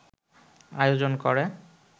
আয়োজন করে